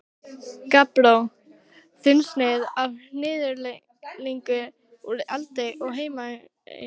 Gabbró, þunnsneið af hnyðlingi úr Eldfelli á Heimaey.